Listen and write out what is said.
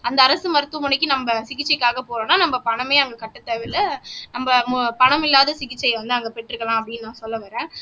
அந்த அரசு மருத்துவமனைக்கு நம்ம சிகிச்சைக்காக போனோம்ன்னா நம்ம பணமே அவங்களுக்கு கட்ட தேவையில்ல நம்ம பணம் இல்லாத சிகிச்சையை வந்து அங்க பெற்றுக்கலாம் அப்படின்னு நான் சொல்ல வர்றேன்